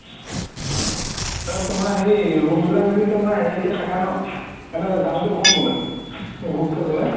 তাৰ পাছত তুমাৰ হেৰি room বিলাক যদি তুমাৰ হেৰি কে থাকা ন মানে দামটো ক'ম বুলে group কে গ'লে